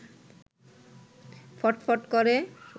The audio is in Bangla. ফটফট করে